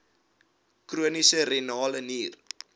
chroniese renale nier